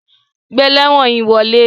Gbé elewon yí wọle!